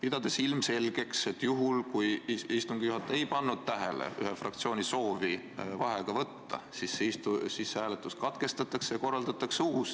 Ma pean ilmselgeks, et juhul, kui istungi juhataja ei pannud tähele ühe fraktsiooni soovi vaheaega võtta, siis hääletus katkestatakse ja korraldatakse uus.